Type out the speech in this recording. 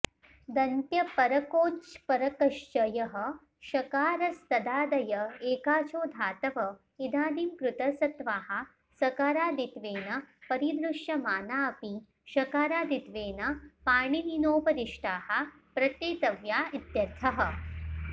दन्त्यपरकोऽच्परकश्च यः षकारस्तदादय एकाचो धातव इदानीं कृतसत्वाः सकारादित्वेन परिदृश्यमाना अपि षकारादित्वेन पाणिनिनोपदिष्टाः प्रत्येतव्या इत्यर्थः